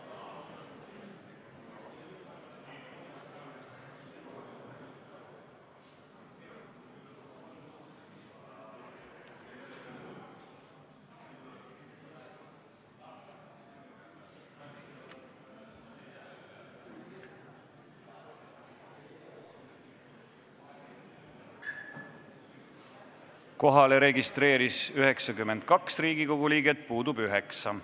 Kohaloleku kontroll Kohalolijaks registreeris ennast 92 Riigikogu liiget, puudub 9.